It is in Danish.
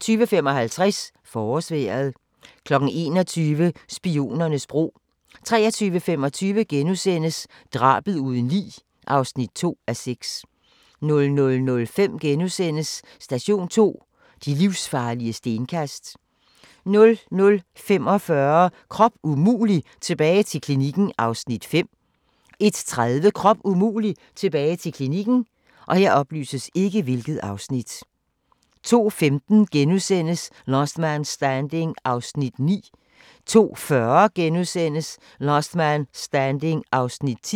20:55: Forårsvejret 21:00: Spionernes bro 23:25: Drabet uden lig (2:6)* 00:05: Station 2: De livsfarlige stenkast * 00:45: Krop umulig - tilbage til klinikken (Afs. 5) 01:30: Krop umulig - tilbage til klinikken 02:15: Last Man Standing (9:24)* 02:40: Last Man Standing (10:24)*